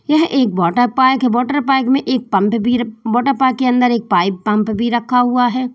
यह एक water park है। वाटर पार्क में एक पंप भी वाटर पार्क के अंदर एक पाइप पंप भी रखा हुआ है।